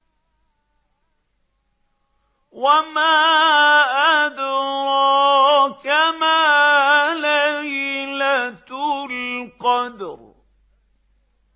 وَمَا أَدْرَاكَ مَا لَيْلَةُ الْقَدْرِ